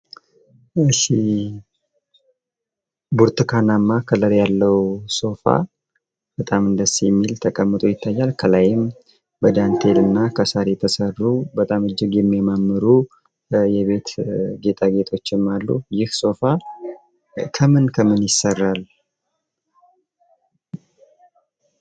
እሺ ብርቱካናማ ቀለም ያለው ሶፋ ፣ በጣም ደስ የሚል ተቀምጦ ይታያል። ከላይም ከዳንቴልና ከሳር የተሰሩ በጣም እጅግ የሚያማምሩ የቤት ጌጣጌጦችም አሉ። ይህ ሶፋ ከምን ከምን ይሰራል?